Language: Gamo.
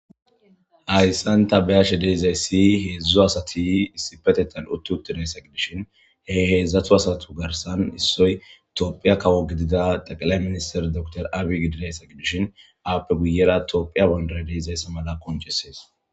Haysan tha be7ashe de7izayssi heezzu asathi issippetheththan uththi7uthi de7isa de7ishin he heezzathu garssan issoy toophphiyaa kawo gidida xeqlay ministher doctor abiy ahmed gidizasa gidishin aappe guye baggara toophphiya banddiray de7izayse mala qonccissees.